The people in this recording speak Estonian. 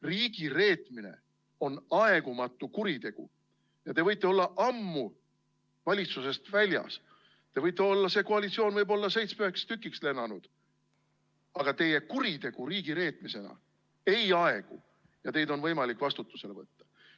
Riigireetmine on aegumatu kuritegu ja te võite olla ammu valitsusest väljas, see koalitsioon võib olla seitsmeks tükiks lennanud, aga teie kuritegu riigireetmisena ei aegu ja teid on võimalik vastutusele võtta.